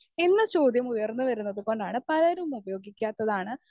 speaker 1 എന്ന ചോദ്യമുയർന്നു വരുന്നതുകൊണ്ടാണ് പലരും ഉപയോഗിക്കാത്തതാണ്